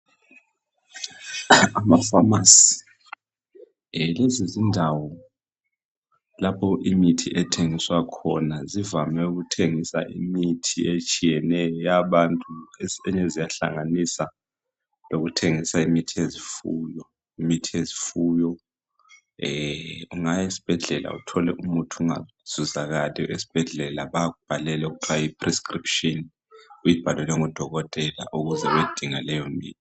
Amapharmacy, lezizindawo lapho imithi ethengiswa khona. Zivame ukuthengisa imithi etshiyeneyo, eyabantu. Kwesinye isikhathi ziyahlanganisa lemithi yezifuyo. Ungaya esibhedlela, uthole imithi ingatholakali. Bayakubhalela okuthiwa yiprescription. Ukuze uyedinga leyomithi.